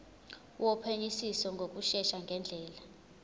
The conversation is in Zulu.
wophenyisiso ngokushesha ngendlela